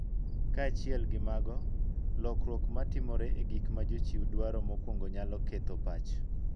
Kaachiel gi mago, lokruok ma timore e gik ma jochiw dwaro mokuongo nyalo ketho pach